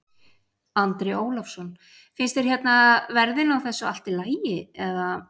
Andri Ólafsson: Finnst þér hérna verðin á þessu allt í lagi eða?